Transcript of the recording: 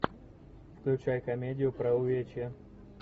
включай комедию про увечья